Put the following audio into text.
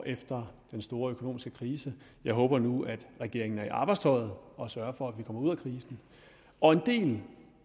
efter den store økonomiske krise jeg håber nu at regeringen er trukket i arbejdstøjet og sørger for at vi kommer ud af krisen og en del